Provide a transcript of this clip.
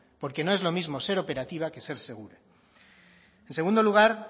porque no es lo mismo ser operativa que ser segura en segundo lugar